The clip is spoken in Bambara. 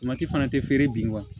fana tɛ feere bi